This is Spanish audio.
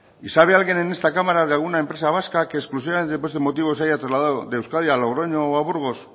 y sabe alguien en esta cámara de alguna empresa vasca que exclusivamente por este motivo se haya trasladado de euskadi a logroño o a burgos